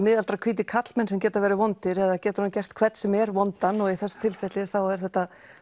hvítir karlmenn sem geta verið vondir eða getur hann gert hvern sem er vondan og í þessu tilfelli þá er þetta